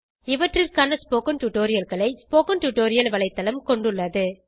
இவற்றிற்கான ஸ்போக்கன் tutorialகளை spoken tutorial வலைத்தளம் கொண்டுள்ளது